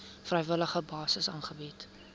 vrywillige basis aangebied